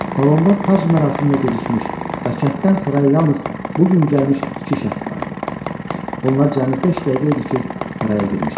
Salonda tac mərasiminə gecikmiş, və kənddən saraya yalnız bu gün gəlmiş iki şəxs vardı, bunlar cəmi beş dəqiqə idi ki saraya girmişdilər.